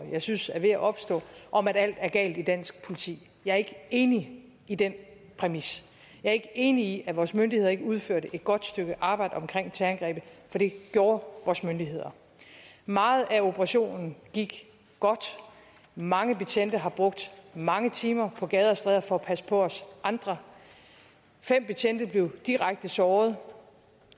jeg synes er ved at opstå om at alt er galt i dansk politi jeg er ikke enig i den præmis jeg er ikke enig i at vores myndigheder ikke udførte et godt stykke arbejde omkring terrorangrebet for det gjorde vores myndigheder meget af operationen gik godt mange betjente har brugt mange timer på gader og stræder for at passe på os andre fem betjente blev direkte såret og